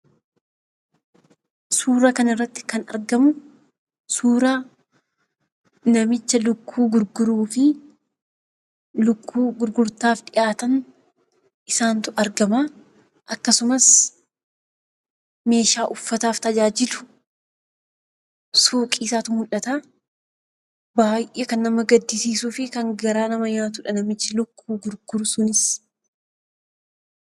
Suuraa kanarratti kan argamu suuraa namicha lukkuu gurguruuti. Lukkuu gurgurtaaf dhiyaatan qabatee argama akkasumas meeshaa uffataaf tajaajilu suuqii isaatu mul'ata. Baay'ee kan nama gaddisiisuu fi garaa nama nyaatuudha namichi lukkuu gurguru sunis